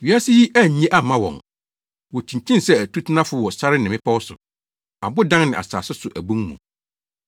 Wiase yi annye amma wɔn. Wokyinkyin sɛ atutenafo wɔ sare ne mmepɔw so, abodan ne asase so abon mu.